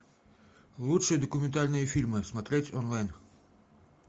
лучшие документальные фильмы смотреть онлайн